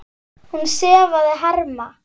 Hún sefaði harma.